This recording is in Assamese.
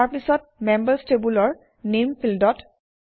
তাৰপিছত মেম্বাৰ্ছ টেবুলৰ নামে ফিল্ডত